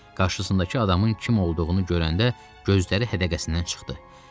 Qarşısındakı adamın kim olduğunu görəndə gözləri hədəqəsindən çıxdı.